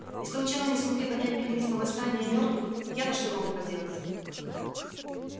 если учёные не смогли понять механизмы восстания мёртвых я то что могу поделать